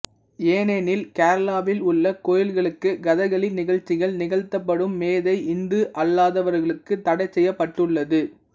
ஏனெனில் கேரளாவில் உள்ள கோயில்களுக்கு கதகளி நிகழ்ச்சிகள் நிகழ்த்தப்படும் மேடை இந்து அல்லாதவர்களுக்கு தடைசெய்யப்பட்டுள்ளது